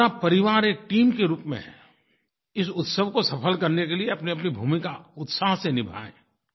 पूरा परिवार एक टीम के रूप में इस उत्सव को सफल करने के लिए अपनीअपनी भूमिका उत्साह से निभाए